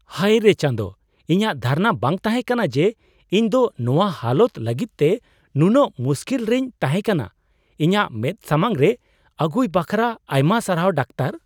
ᱦᱟᱭᱨᱮ ᱪᱟᱸᱫᱚ ! ᱤᱧᱟᱜ ᱫᱷᱟᱨᱚᱱᱟ ᱵᱟᱝ ᱛᱟᱦᱮᱠᱟᱱᱟ ᱡᱮ ᱤᱧ ᱫᱚ ᱱᱚᱣᱟ ᱦᱟᱞᱚᱛ ᱞᱟᱹᱜᱤᱫᱛᱮ ᱱᱩᱱᱟᱹᱜ ᱢᱩᱥᱠᱤᱞ ᱨᱮᱧ ᱛᱟᱦᱮᱠᱟᱱᱟ ᱾ ᱤᱧᱟᱜ ᱢᱮᱫ ᱥᱟᱢᱟᱝ ᱨᱮ ᱟᱹᱜᱩᱭ ᱵᱟᱠᱷᱨᱟ ᱟᱭᱢᱟ ᱥᱟᱨᱦᱟᱣ, ᱰᱟᱠᱛᱚᱨ ᱾